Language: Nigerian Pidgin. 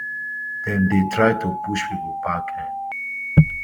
dem dey try to push pipo back um